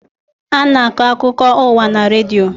A na-akọ akụkọ ụwa na redio.